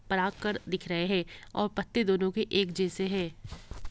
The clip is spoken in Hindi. पराग कर दिख रहे है और पत्ते दोनों के एक जैसे है।